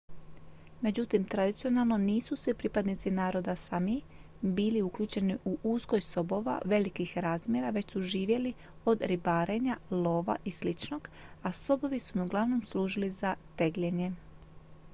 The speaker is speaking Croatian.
međutim tradicionalno nisu svi pripadnici naroda sámi bili uključeni u uzgoj sobova velikih razmjera već su živjeli od ribarenja lova i sličnog a sobovi su im uglavnom služili za tegljenje